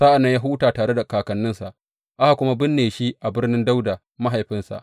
Sa’an nan ya huta tare da kakanninsa, aka kuma binne shi a birnin Dawuda mahaifinsa.